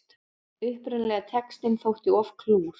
Upprunalegi textinn þótti of klúr